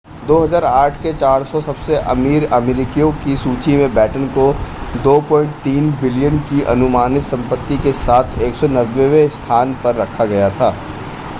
2008 के 400 सबसे अमीर अमेरिकियों की सूची में बैटन को $ 2.3 billion की अनुमानित संपत्ति के साथ 190 वें स्थान पर रखा गया था।